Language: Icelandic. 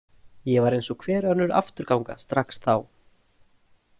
Ég var eins og hver önnur afturganga strax þá.